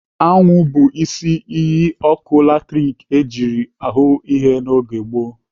Anwụ bụ isi iyi ọkụ latrik ejiri hụụ ihe n'oge gboo.